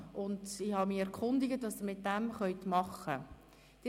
Ich habe mich erkundigt, was Sie damit machen können: